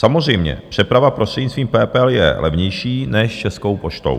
Samozřejmě přeprava prostřednictvím PPL je levnější než Českou poštou.